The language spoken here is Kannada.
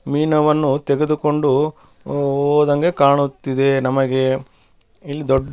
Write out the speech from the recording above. ಮೀನವನ್ನು ತೆಗೆದುಕೊಂಡು ಹೋದಂಗೆ ಕಾಣುತ್ತಿದೆ ನಮಗೆ ಇಲ್ಲಿ ದೊಡ್ಡ --